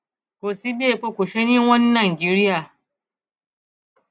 kò sí bí epo kò ṣeé ní i wọn ní nàìjíríà